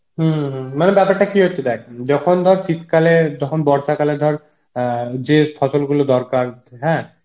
হম হম মানে বেপারটা কি হচ্ছে দেখ যখন ধর শীত কালে যখন বর্ষা কালে ধর আ যে ফসল গুলো দরকার হ্যাঁ